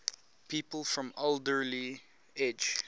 people from alderley edge